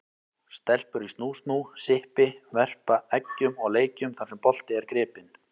Stelpur í snú-snú, sippi, verpa eggjum og leikjum þar sem bolti er gripinn.